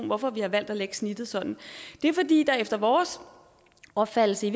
hvorfor vi har valgt at lægge snittet sådan det er fordi der efter vores opfattelse i